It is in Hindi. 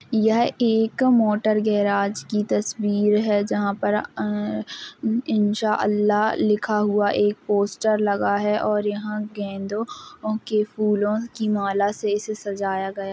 यह एक मोटर गैराज की तस्वीर है। जहाँ पर अ ह इंशाअल्लाह लिखा हुआ एक पोस्टर लगा है और यहाँ गेंदो की फूलों की माला से इसे सजाया गया --